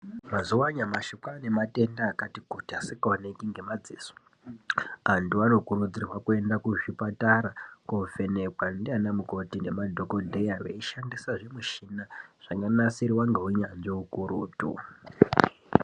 Mazuwa anyamashi kwane matenda akati kuti asingaoneki ngemadziso antu anokurudzirwa kuenda kuzvipatara kovhenekwa ndiana mukoti nemadhokodheya veishandisa zvimuchina zvakanasirwa ngeunyanzvi ukurutu.